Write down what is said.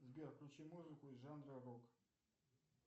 сбер включи музыку из жанра рок